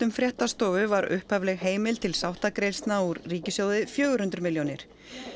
fréttastofu var upphafleg heimild til úr ríkissjóði fjögur hundruð milljónir